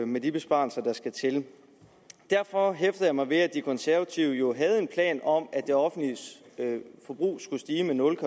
med de besparelser der skal til derfor hæfter jeg mig ved at de konservative jo havde en plan om at det offentlige forbrug skulle stige med nul